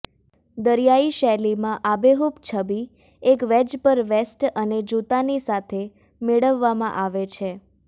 દરિયાઇ શૈલીમાં આબેહૂબ છબી એક વેજ પર વેસ્ટ અને જૂતાની સાથે મેળવવામાં આવે છે